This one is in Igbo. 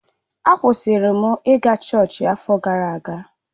A kwụsịrị m ị ga chọọchị afọ gara aga.